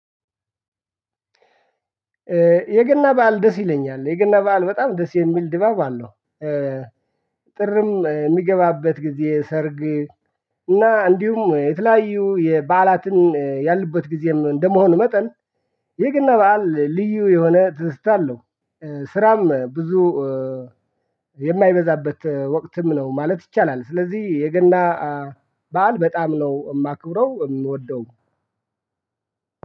የገና በዓል ደስ ይለኛል የገና በዓል በጣም ደስ የሚል ድባብ አለው። ጥርም የሚገባበት ጊዜ ሰርግ እና እንዲሁም የተለያዩ የበዓላትን ያሉበት ጊዜም እንደመሆኑ መጠን የገና በዓል ልዩ የሆነ ትዝታለ አለው። ስራም ብዙ የማይበዛበት ወቅትም ነው ማለት ይቻላል። ስለዚህ የገና በዓል በጣም ነው የማከብረው የምወደውም።